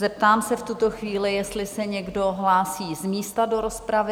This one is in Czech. Zeptám se v tuto chvíli, jestli se někdo hlásí z místa do rozpravy?